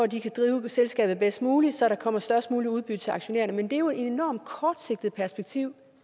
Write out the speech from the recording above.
de kan drive selskabet bedst muligt så der kommer størst muligt udbytte til aktionærerne men det er jo et enormt kortsigtet perspektiv